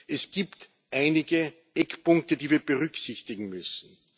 Es gibt einige Eckpunkte, die wir berücksichtigen müssen.